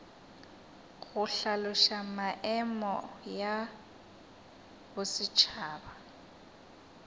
go hlaloša maemo ya bosetšhaba